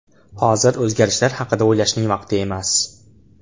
Hozir o‘zgarishlar haqida o‘ylashning vaqti emas.